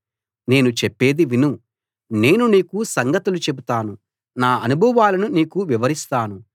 నేను చెప్పేది విను నేను నీకు సంగతులు చెబుతాను నా అనుభవాలను నీకు వివరిస్తాను